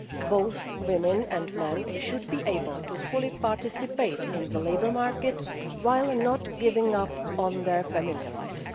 Both women and men should be able to participate fully in the labour market while not giving up on their family life.